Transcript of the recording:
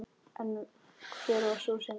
En hver var sú synd?